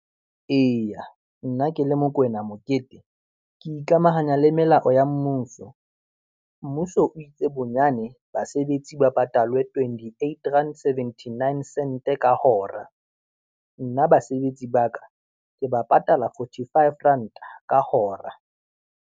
Eya, nna ke le Mokoena Mokete, ke ikamahanya le melao ya mmuso. Mmuso o itse bonyane basebetsi ba patalwe twenty eight rand, seventy nine sent ka hora. Nna basebetsi ba ka, ke ba patala forty five ranta ka hora.